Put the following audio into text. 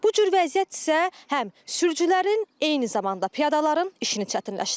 Bu cür vəziyyət isə həm sürücülərin, eyni zamanda piyadaların işini çətinləşdirir.